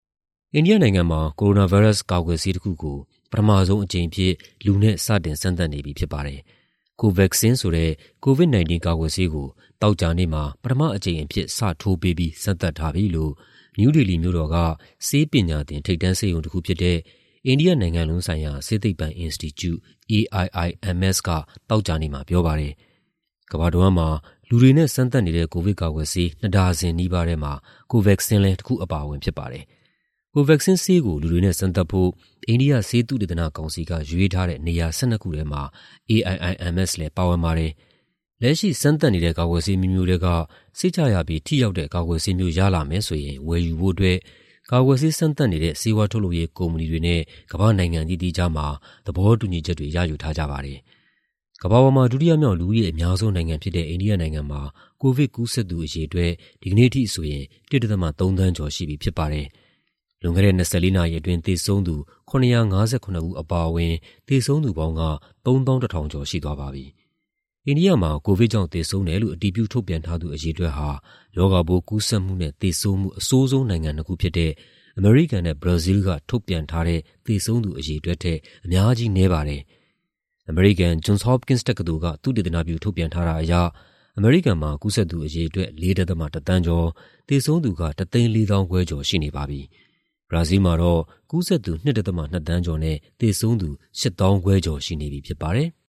အိန္ဒိယနိုင်ငံမှာ ကိုရိုနာဗိုင်းရပ်စ်ပိုး ကာကွယ်ဆေးတခုကို ပထမဆုံးအကြိမ်အဖြစ် လူနဲ့ စတင်စမ်းသပ်နေပြီ ဖြစ်ပါတယ်။ Covaxin ဆိုတဲ့ COVID-19 ကာကွယ်ဆေးကို သောကြာနေ့မှာ ပထမအကြိမ်အဖြစ် စထိုးပေးပြီး စမ်းသပ်ထားပြီလို့ နယူးဒေလီမြို့တော်က ဆေးပညာသင် ထိပ်တန်းဆေးရုံတခုဖြစ်တဲ့ အိန္ဒိယနိုင်ငံလုံးဆိုင်ရာ ဆေးသိပ္ပံအင်စတီကျူ (AIIMS) က သောကြာနေ့မှာ ပြောပါတယ်။ ကမ္ဘာတဝန်းမှာ လူတွေနဲ့စမ်းသပ်နေတဲ့ ကိုဗစ်ကာကွယ်ဆေး နှစ်ဒါဇင်နီးပါးမှာ Covaxin လည်း တခုအပါအဝင် ဖြစ်ပါတယ်။ Covaxin ဆေးကို လူတွေနဲ့စမ်းသပ်ဖို့ အိန္ဒိယ ဆေးသုတေသနကောင်စီက ရွေးထားတဲ့ နေရာ ၁၂ ခုထဲမှာ AIIMS လည်း ပါဝင်ပါတယ်။ လက်ရှိ စမ်းသပ်နေတဲ့ ကာကွယ်ဆေးအမျိုးမျိုးထဲက စိတ်ချရပြီး ထိရောက်တဲ့ ကာကွယ်ဆေးမျိုး ရလာမယ်ဆိုရင် ဝယ်ယူဖို့အတွက် ကာကွယ်ဆေးစမ်းသပ်နေတဲ့ ဆေးဝါးထုတ်လုပ်ရေးကုမ္ပဏီတွေနဲ့ ကမ္ဘာ့နိုင်ငံအသီးသီးကြားမှာ သဘောတူညီချက်တွေ ရယူထားကြပါတယ်။ ကမ္ဘာပေါ်မှာ ဒုတိယမြောက် လူဦးရေအများဆုံးနိုင်ငံဖြစ်တဲ့ အိန္ဒိယနိုင်ငံမှာ ကိုဗစ်ကူးစက်သူ အရေအတွက် ဒီကနေ့အထိဆိုရင် ၁.၃ သန်းကျော်ရှိပြီ ဖြစ်ပါတယ်။ လွန်ခဲ့တဲ့ ၂၄ နာရီအတွင်း သေဆုံးသူ ၇၅၇ ဦး အပါအဝင် သေဆုံးသူပေါင်းက ၃၁,၃၅၈ ဦး ရှိသွားပါပြီ။ အိန္ဒိယမှာ ကိုဗစ်ကြောင့် သေဆုံးတယ်လို့ အတည်ပြု ထုတ်ပြန်ထားသူ အရေအတွက်ဟာ ရောဂါပိုးကူးစက်မှုနဲ့ သေဆုံးမှု အဆိုးဆုံးနိုင်ငံနှစ်ခုဖြစ်တဲ့ အမေရိကန်နဲ့ ဘရာဇီးက ထုတ်ပြန်ထားတဲ့ သေဆုံးသူ အရေအတွက်ထက် အများကြီးနည်းပါတယ်။ အမေရိကန် Johns Hopkins တက္ကသိုလ်က သုတေသနပြု ထုတ်ပြန်ထားတာအရ အမေရိကန်မှာ ကူးစက်သူ အရေအတွက် ၄.၁ သန်းကျော်၊ သေဆုံးသူက ၁၄၅,၀၀၀ ကျော် ရှိနေပါပြီ။ ဘရာဇီးမှာတော့ ကူးစက်သူ ၂.၂ သန်းကျော်၊ သေဆုံးသူ ၈၅,၀၀၀ ကျော်ရှိနေပြီ ဖြစ်ပါတယ်။